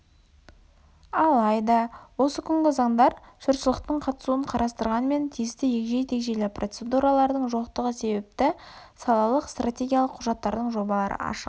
алайда осы күнгі заңдар жұртшылықтың қатысуын қарастырғанымен тиісті егжей-тегжейлі процедуралардың жоқтығы себепті салалық стратегиялық құжаттардың жобалары ашық